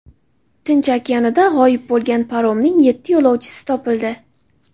Tinch okeanida g‘oyib bo‘lgan paromning yetti yo‘lovchisi topildi.